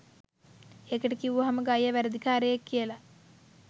එකට කිව්වම ගයියා වැරදි කාරයෙක් කියලා